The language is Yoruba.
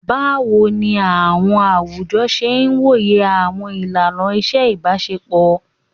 Bawo ni awọn awujọ ṣe woye awọn ilana iṣe ibaṣepọ?